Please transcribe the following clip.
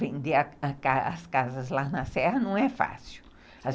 Vender as casas lá na serra não é fácil.